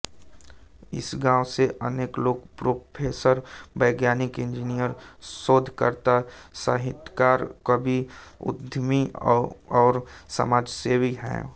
इस गाँव से अनेक लोग प्रोफेसर वैज्ञानिक इंजीनियर शोधकर्ता साहित्यकार कवि उद्यमी और समाजसेवी हैं